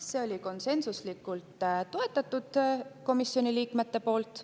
Seda toetasid komisjoni liikmed konsensuslikult.